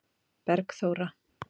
Bergþóra